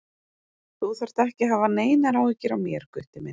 Þú þarft ekki að hafa neinar áhyggjur af mér, Gutti minn.